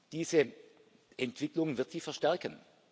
Diese Entwicklung wird sich verstärken.